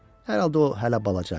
Hər halda o hələ balaca idi.